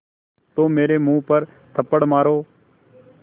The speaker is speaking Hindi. तो मेरे मुँह पर थप्पड़ मारो